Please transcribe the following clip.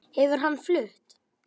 Hefur hann flutt?